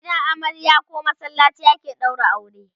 a gidan amarya koh masallaci ake ɗaura aure